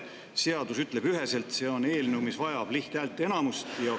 Seadus ütleb üheselt, et see on eelnõu, mis vajab lihthäälteenamust.